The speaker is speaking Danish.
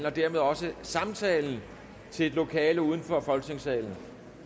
og dermed også samtalen til et lokale udenfor folketingssalen